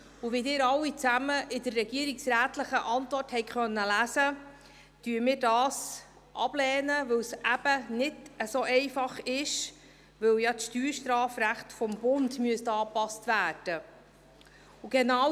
Wie Sie alle in der regierungsrätlichen Antwort lesen konnten, lehnen wir dies ab, weil es nicht so einfach ist, da das Steuerstrafrecht des Bundes angepasst werden müsste.